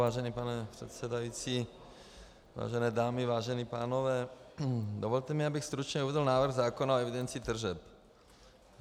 Vážený pane předsedající, vážené dámy, vážení pánové, dovolte mi, abych stručně uvedl návrh zákona o evidenci tržeb.